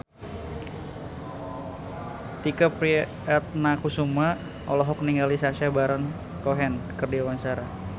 Tike Priatnakusuma olohok ningali Sacha Baron Cohen keur diwawancara